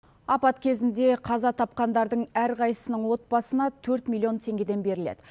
апат кезінде қаза тапқандардың әрқайсының отбасына төрт миллион теңгеден беріледі